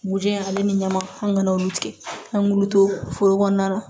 Mugujɛ ale ni ɲama an'olu tigɛ an k'ulu to foro kɔnɔna na